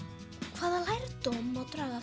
hvaða lærdóm má draga af